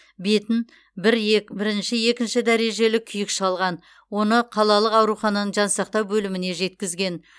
бетін бір ек бірінші екінші дәрежелі күйік шалған оны қалалық аурухананың жансақтау бөліміне жеткізген